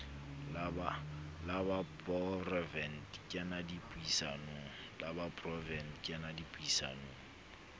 la poraevete ke na dipuisanong